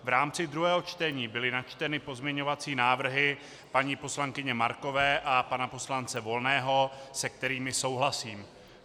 V rámci druhého čtení byly načteny pozměňovací návrhy paní poslankyně Markové a pana poslance Volného, se kterými souhlasím.